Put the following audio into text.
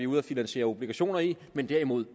ude at finansiere obligationer i men derimod